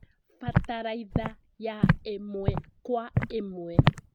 Bataraitha ya ĩmwe Kwa ĩmwe